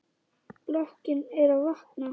Blokkin er að vakna.